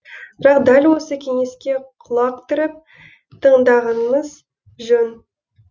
бірақ дәл осы кеңеске құлақ түріп тыңдағанымыз жөн